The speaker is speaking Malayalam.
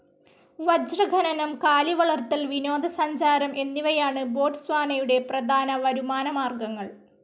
വജ്രഖനനം, കാലിവളർത്തൽ, വിനോദസഞ്ചാരം എന്നിവയാണ് ബോട്സ്വാനയുടെ പ്രധാന വരുമാനമാർഗങ്ങൾ.